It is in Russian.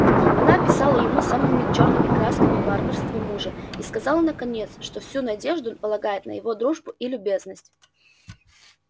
она описала ему самыми чёрными красками варварство мужа и сказала наконец что всю надежду полагает на его дружбу и любезность